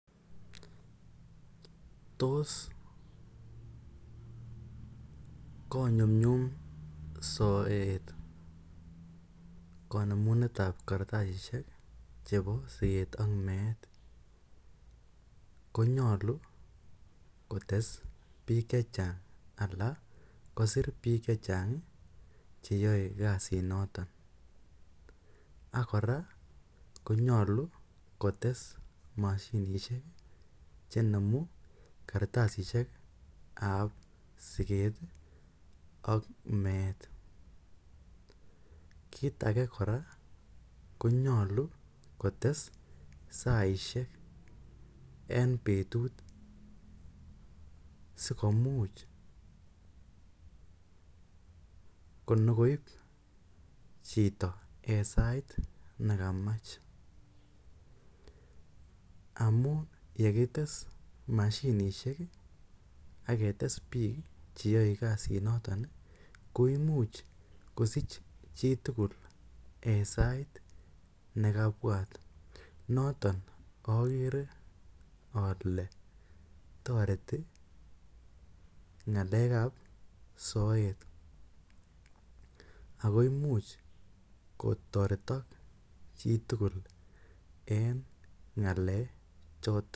Toss konyumnyum soet konemunetab kartasishek chebo siket ak meet konyolu kotes biik chechang ala kosir biik chechang cheyoe kazit notok ak kora konyolu kotes moshinishek chenemu kartasishek ab siket ak meet kit ake kora konyolu kotes saaishek en betut sikomuch nyokoip chito en saait nekamach amun yekites moshinishek ak ketes biik cheyoe kasit notok koimuch chitugul en sait nekabwat notok kokere ole toreti ngalekap soet akoimuch kotoretok chitugul en ngalekap choton